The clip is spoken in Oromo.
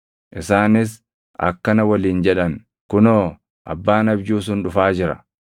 Isaanis akkana waliin jedhan; “Kunoo abbaan abjuu sun dhufaa jira!